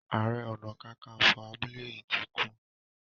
aré ọnà kankanfo abúlé yí tí kú.